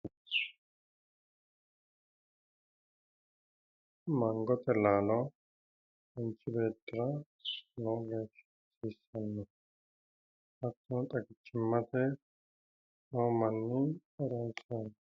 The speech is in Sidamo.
Mangote laalo manchi beettira lowo geeshsha hasiissannote. Hattono xagichimmate hasiissannote.